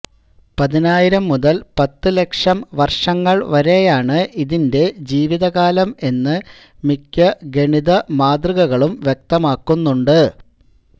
പതിനായിരം മുതൽ പത്തു ലക്ഷം വർഷങ്ങൾ വരെയാണ് ഇതിന്റെ ജീവിതകാലം എന്ന് മിക്ക ഗണിതമാതൃകകളും വ്യക്തമാക്കുന്നുണ്ട്